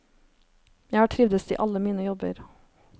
Jeg har trivdes i alle mine jobber.